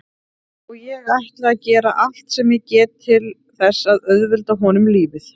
Og ég ætla að gera allt sem ég get til þess að auðvelda honum lífið.